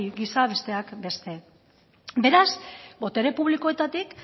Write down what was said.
gisa besteak beste beraz botere publikoetatik